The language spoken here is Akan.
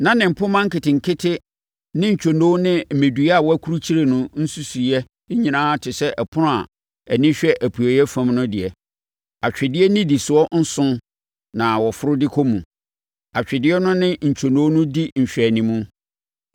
Na ne mpomma nketenkete ne ntwonoo ne mmɛdua a wɔakurukyire no nsusuwiiɛ nyinaa te sɛ ɛpono a ani hwɛ apueeɛ fam no deɛ. Atwedeɛ nnidisoɔ nson na wɔforo de kɔ mu. Atwedeɛ no ne ntwonoo no di nhwɛanim.